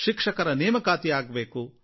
ಶಿಕ್ಷಕರ ನೇಮಕಾತಿ ಆಗಬೇಕು